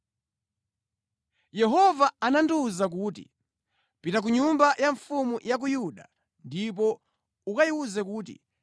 Yehova anandiwuza kuti, “Pita ku nyumba ya mfumu ya ku Yuda ndipo ukayiwuze kuti,